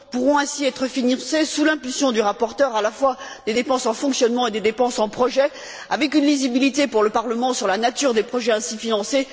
Pourront ainsi être financées, sous l'impulsion du rapporteur, à la fois des dépenses en fonctionnement et des dépenses en projet, avec une lisibilité pour le Parlement sur la nature des projets ainsi financés.